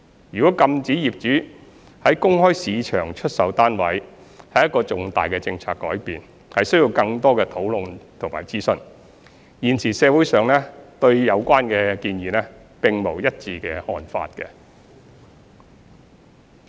若禁止業主在公開市場出售單位，是重大的政策改變，需要更多的討論和諮詢，現時社會上對有關建議並無一致的看法。